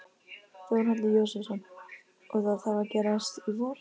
Þórhallur Jósefsson: Og það þarf að gerast í vor?